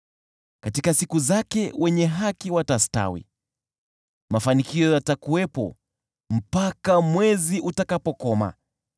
Katika siku zake wenye haki watastawi; mafanikio yatakuwepo mpaka mwezi utakapokoma.